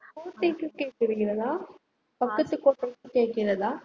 கோட்டைக்கு கேட்டிருக்கிறதா பக்கத்துக்கு கோட்டைக்கு கேக்கிறதா